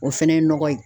O fɛnɛ ye nɔgɔ ye